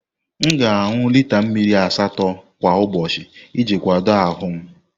M ga-aṅụ lita mmiri asatọ kwa ụbọchị iji kwado ahụ m.